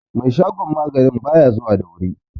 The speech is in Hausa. shagon maganin ba ya zuwa da wuri